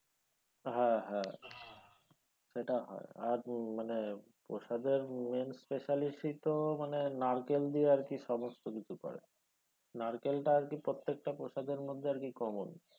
হ্যাঁ হ্যাঁ সেটা হয় আর মানে প্রসাদের main special ই তো মানে নারকেল দিয়ে আরকি সমস্ত কিছু করে নারকেলটা আরকি প্রত্যেকটা আরকি প্রসাদের মধ্যে common